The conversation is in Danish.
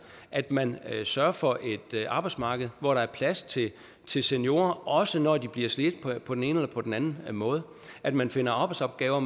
at man sørger for et arbejdsmarked hvor der er plads til til seniorer også når de bliver slidt på den ene eller på den måde og at man finder arbejdsopgaver